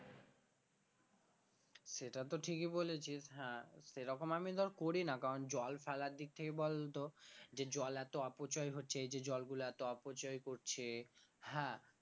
সেটা তো ঠিকই বলেছিস হ্যাঁ সেরকম আমি ধর করি না কারণ জল ফেলার দিক থেকে বল যে জল এত অপচয় হচ্ছে এই যে জল গুলা এত অপচয় করছে হ্যাঁ